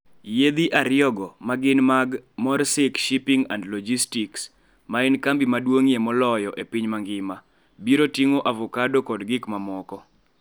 Yiedhi ariyogo, ma gin mag Maersk Shipping and Logistics, ma en kambi maduong'ie moloyo e piny mangima, biro ting'o avocado kod gik mamoko.